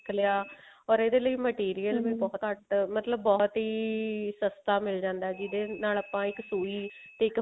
ਸਿੱਖ ਲਿਆ ਤੇ ਇਹਦੇ ਲਈ material ਬਹੁਤ ਘੱਟ ਮਤਲਬ ਬਹੁਤ ਹੀ ਸਸਤਾ ਮਿਲ ਜਾਂਦਾ ਜਿਹਦੇ ਨਾਲ ਆਪਾਂ ਇੱਕ ਸੁਈ ਤੇ ਇੱਕ